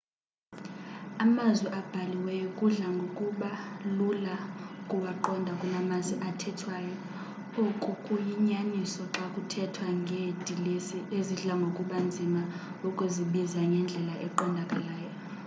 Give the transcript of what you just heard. amazwi abhaliweyo kudla ngokuba lula ukuwaqonda kunamazwi athethwayo oku kuyinyaniso xa kuthethwa ngeedilesi ezidla ngokuba nzima ukuzibiza ngendlela eqondakalayo